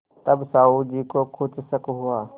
तब साहु जी को कुछ शक हुआ